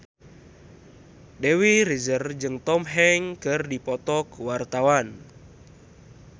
Dewi Rezer jeung Tom Hanks keur dipoto ku wartawan